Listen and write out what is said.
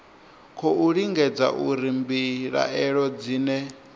khou lingedza uri mbilaelo dzine